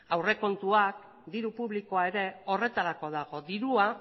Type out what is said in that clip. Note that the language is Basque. aurrekontuak diru publikoa ere horretarako dago dirua